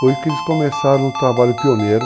Foi que eles começaram o trabalho pioneiro.